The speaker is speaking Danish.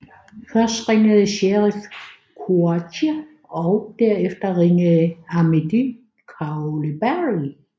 Først ringede Cherif Kouachi og derefter ringede Amédy Coulibaly